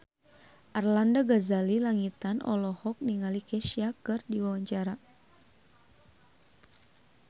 Arlanda Ghazali Langitan olohok ningali Kesha keur diwawancara